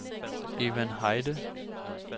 Evan Heide